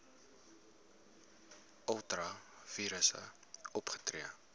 ultra vires opgetree